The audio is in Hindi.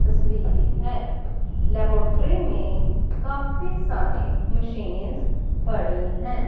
तस्वीर है लेबोट्री में काफी सारे मशीन पड़ी हैं।